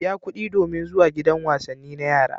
Biya kuɗi domin zuwa gidan wasanni na yara.